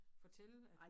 Fortælle at